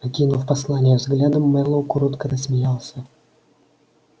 окинув послание взглядом мэллоу коротко рассмеялся